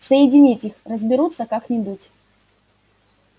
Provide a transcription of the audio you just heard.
соединить их разберутся как-нибудь